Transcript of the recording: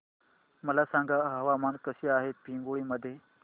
मला सांगा हवामान कसे आहे पिंगुळी मध्ये